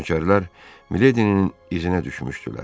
Nökərlər Miledinin izinə düşmüşdülər.